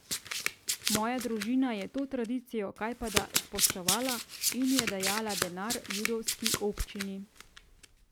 Moja družina je to tradicijo kajpada spoštovala in je dajala denar judovski občini.